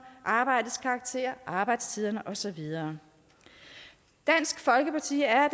arbejdets karakter arbejdstiden og så videre dansk folkeparti er